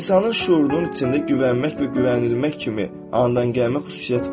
İnsanın şüurunun içində güvənmək və güvənilmək kimi anadangəlmə xüsusiyyət var.